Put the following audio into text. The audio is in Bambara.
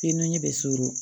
Fiye n ɲɛ bɛ surun